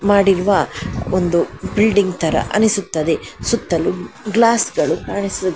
ಮಾಡಿರುವ ಒಂದು ಬಿಲ್ಡಿಂಗ್ ಥರ ಅನಿಸುತ್ತದೆ ಸುತ್ತಲೂ ಗ್ಲಾಸುಗಳು ಕಾಣಿಸು --